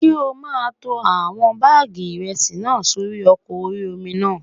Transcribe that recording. Ṣé o máa tó àwọn báàgì ìrẹsì náà sórí ọkọ̀ orí-omi náà?